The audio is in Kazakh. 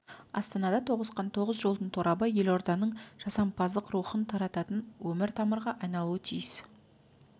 астанада тоғысқан тоғыз жолдың торабы елорданың жасампаздық рухын тарататын өмір-тамырға айналуы тиіс